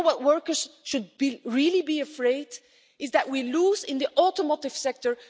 What workers should be really be afraid of is that we lose out in the automotive sector